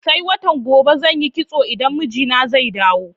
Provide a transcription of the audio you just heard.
Sai watan gobe zan yi kitso idan mijina zai dawo.